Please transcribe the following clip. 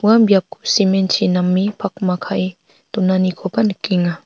ua cement-chi name pakma kae donanikoba nikenga.